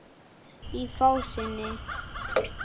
Í fásinni